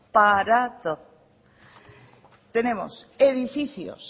tenemos edificios